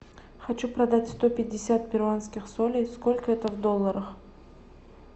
хочу продать сто пятьдесят перуанских солей сколько это в долларах